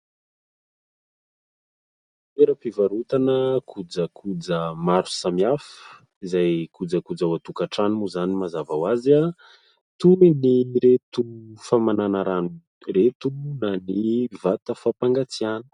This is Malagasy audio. Toera-pivarotana kojakoja maro samihafa izay kojakoja ao an-tokantrano moa izany mazava ho azy, toy ireto famanana rano ireto na ny vata- fampangatsiana.